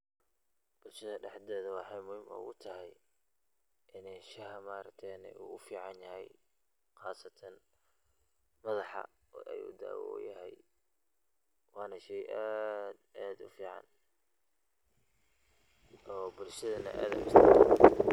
Bulshada dhexdeeda waxeey muhim oogu tahay ineey shaaha ma argte uu uficanyahay qasatan madaxa ayuu daawa uyahay waana sheey aad iyo aad ufiican oo bulshadana aad u isticmaasho.